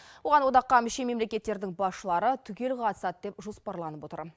оған одаққа мүше мемлекеттердің басшылары түгел қатысады деп жоспарланып отыр